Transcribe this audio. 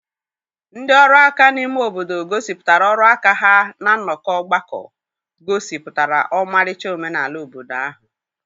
ndị ọrụ aka n'ime obodo gosipụtara ọrụ aka ha na nnọkọ ọgbakọ, gosipụtara ọmarịcha omenala obodo ahụ.